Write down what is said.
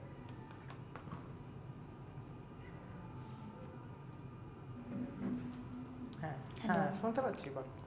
হ্যাঁ শুনতে পাচ্ছি বল